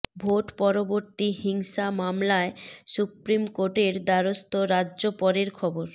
vote পরবর্তী হিংসা মামলায় সুপ্রিম কোর্টের দ্বারস্থ রাজ্য পরের খবর